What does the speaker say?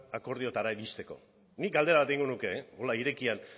akordioetara iristeko nik galdera bat egingo nuke honela irekian